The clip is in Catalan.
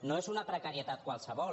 no és una precarietat qualsevol